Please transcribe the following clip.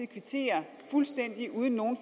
kvittere fuldstændig uden nogen